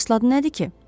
Əsl adı nədir ki?